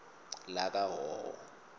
lakahhohho